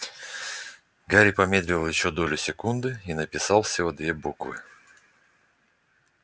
гарри помедлил ещё долю секунды и написал всего две буквы